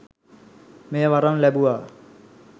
මෙය වරම් ලැබුවා